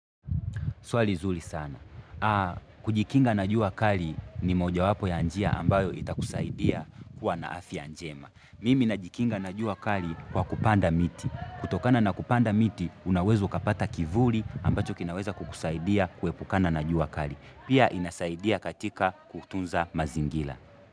Swali zuri sana. Kujikinga na jua kali ni moja wapo ya njia ambayo itakusaidia kuwa na afya njema. Mimi najikinga na jua kali kwa kupanda miti. Kutokana na kupanda miti unaweza ukapata kivuli ambacho kinaweza kukusaidia kuepukana na jua kali. Pia inasaidia katika kutunza mazingila.